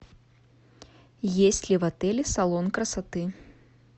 есть ли в отеле салон красоты